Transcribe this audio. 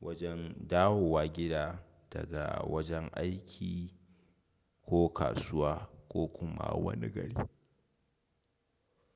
wajen dawowa gida daga wajen aiki ko kasuwa ko kuma wani gari.